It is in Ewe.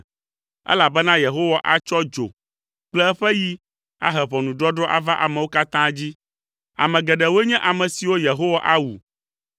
elabena Yehowa atsɔ dzo kple eƒe yi ahe ʋɔnudɔdrɔ̃ ava amewo katã dzi. Ame geɖewoe nye ame siwo Yehowa awu.